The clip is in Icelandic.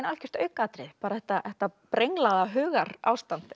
algjört aukaatriði bara þetta þetta brenglaða hugarástand